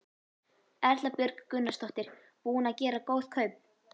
Erla Björg Gunnarsdóttir: Búinn að gera góð kaup?